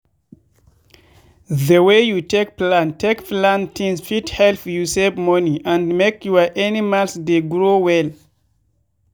the way you take plan take plan things fit help you save money and make your animals dey grow well.